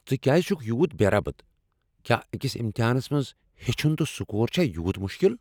ژٕ کیٛاز چھِکھ یوتاہ بے ربط؟ کیٛاہ أکس امتحانس منٛز ہیٚچھُن تہٕ سکور چھا یوٗت مُشکل ؟